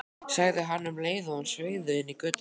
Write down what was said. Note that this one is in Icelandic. sagði hann um leið og hann sveigði inn í götuna.